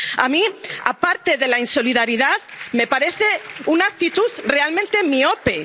nacionales. A mí, aparte de la insolidaridad, me parece una actitud realmente